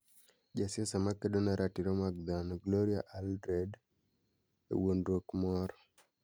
jasiasa makedo ne ratiro mag dhano Gloria Allred,e wuondruok moro